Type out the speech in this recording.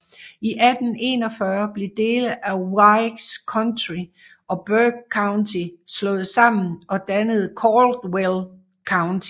I 1841 blev dele af Wilkes County og Burke County slået sammen og dannede Caldwell County